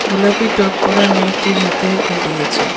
গোলাপি টপ পড়া মেয়েটির হাতে ঘড়ি আছে.